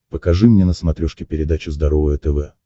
покажи мне на смотрешке передачу здоровое тв